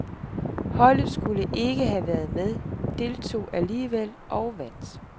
Holdetskulle ikke have været med, deltog alligevel og vandt.